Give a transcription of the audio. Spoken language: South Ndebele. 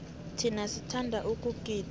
thina sithanda ukugida